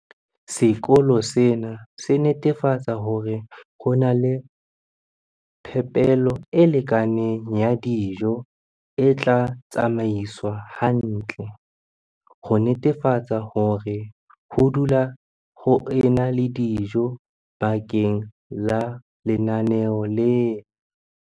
Sekolo sena se netefatsa hore ho na le phepelo e lekaneng ya dijo e tla tsamaiswa hantle, ho netefatsa hore ho dula ho ena le dijo bakeng la lenaneo lena.